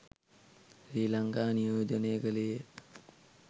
ශ්‍රී ලංකාව නියෝජනය කළේය.